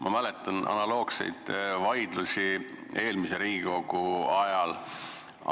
Ma mäletan analoogseid vaidlusi eelmise Riigikogu ajast.